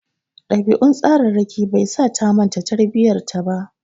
Ɗabi'un tsararraki bai sa ta manta tarbiyyar ta ba.